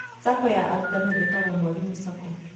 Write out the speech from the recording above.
SACCO ya arutani ĩtagwo Mwalimu SACCO